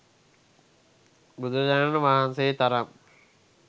බුදුරජාණන් වහන්සේ තරම්